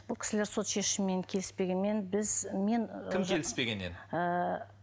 бұл кісілер сот шешімімен келіспегенмен біз мен кім келіспеген еді ыыы